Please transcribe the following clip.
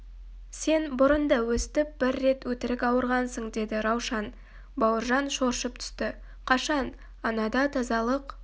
сен бұрын да өстіп бір рет өтірік ауырғансың деді раушан бауыржан шоршып түсті қашан анада тазалық